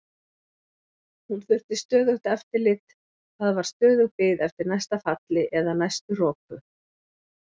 Hún þurfti stöðugt eftirlit, það var stöðug bið eftir næsta falli eða næstu roku.